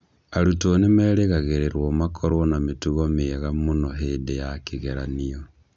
Arutwo nĩ merĩgagĩrĩrũo makorũo na mĩtugo mĩega mũno hĩndĩ ya kĩgeranio.